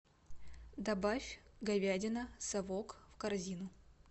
добавь говядина совок в корзину